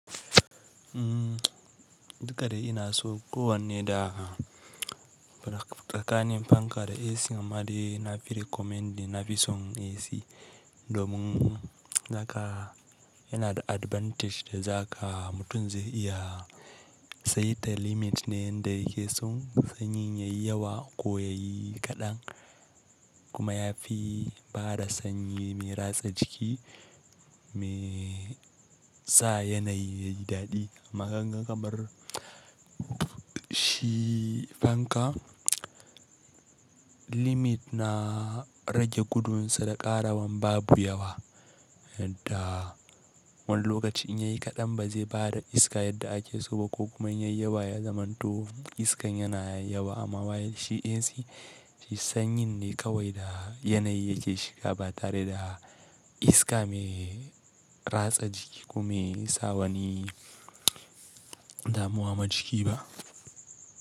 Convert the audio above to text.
Duka da ina so ko wanne da tsakanin fanka da AC amma dai nafi recommending na fi son AC domin haka yana da advantage da za ka mutum zai iya saita limit ne yanda yake son sanyi yayi yawa ko yayi kaɗan kuma ya fi bada sanyi mai ratsa jiki mai sa yanayi yayi dadi. Amma kaganga kamar shi fanka limit na rage gudun sa da ƙarawan babu yawa da wani lokaci in yayi kaɗan ba zai bada iska yadda ake so ba ko kuma in yayi yawa ya zamanto iskan yana yawa amma while shi AC shi sanyi ne kawai da yanayi yake shiga ba tare da iska mai ratsa jiki ko mai sawa ni damuwa ma jiki ba.